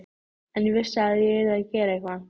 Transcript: En ég vissi að ég yrði að gera eitthvað.